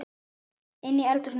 Inni í eldhúsi var